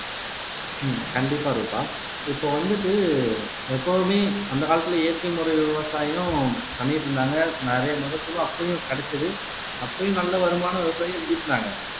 ஆஹ் கண்டிப்பா ரூபா இப்போ வந்துட்டு எப்பவுமே அந்த காலத்திலே இயற்கை முறை விவசாயம் பண்ணிட்டு இருந்தாங்க நிறைய மகசூல் அப்பையும் கிடைச்சது அப்பையும் நல்ல வருமானம் விவசாயிகள் ஈட்டினாங்க